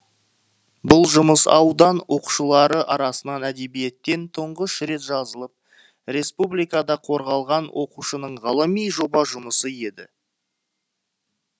бұл жұмыс аудан оқушылары арасынан әдебиеттен тұңғыш рет жазылып республикада қорғалған оқушының ғылыми жоба жұмысы еді